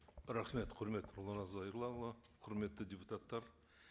рахмет құрметті нұрлан зайроллаұлы құрметті депутаттар